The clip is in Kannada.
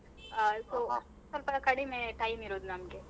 ಆ ಸ್ವಲ್ಪ ಕಡಿಮೆ time ಇರೋದು ನಮ್ಗೆ.